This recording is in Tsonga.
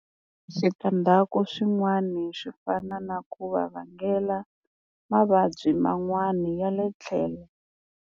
Switandzhaku swin'wani swi fana na ku va vangela mavabyi man'wani ya le tlhelo.